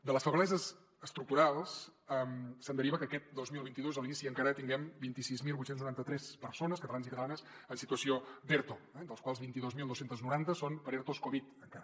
de les febleses estructurals se’n deriva que aquest dos mil vint dos a l’inici encara tinguem vint sis mil vuit cents i noranta tres persones catalans i catalanes en situació d’erto eh dels quals vint dos mil dos cents i noranta són per ertos covid encara